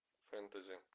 фэнтези